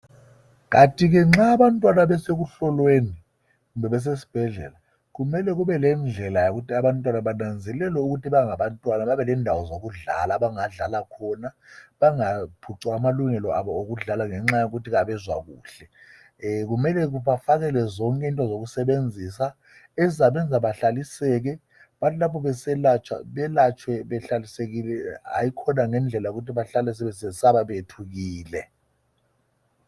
Kanti ke nxa abantwana besekuhlolweni kumbe besesibhedlela kumele kube lendlela yokuthi abantwana bananzelelwe ukuthi bangabantwana babelendawo zokudlala abangadlala khona, bangaphucwa amalungelo abo okudlala ngenxa yokuthi abezwakuhle. kumele bafakelwe zonke into zokusebenzisa ezizabenza behlaliseke bathi lapho beselatshwa belatshwe behlalisekile hayikhona ngendlela yokuthi bahlale sebesesaba kumbe bethukile.